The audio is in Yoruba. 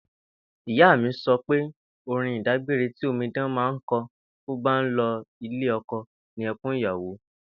Ìyá mi so̩ pé orin ìdágbére ti omidan máa ń ko̩ bó bá ń lo̩ ilé o̩ko̩ ni e̩kún ìyàwó